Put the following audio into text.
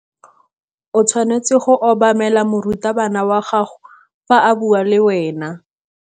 O tshwanetse go obamela morutabana wa gago fa a bua le wena.